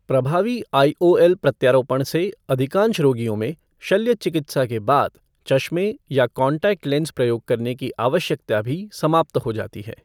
प्रभावी आईओएल प्रत्यारोपण से अधिकांश रोगियों में शल्य चिकित्सा के बाद चश्मे या कॉन्टैक्ट लेंस प्रयोग करने की आवश्यकता भी समाप्त हो जाती है।